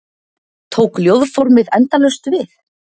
Tók ljóðformið endalaust við?